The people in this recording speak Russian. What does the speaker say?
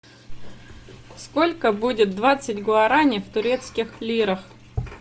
сколько будет двадцать гуарани в турецких лирах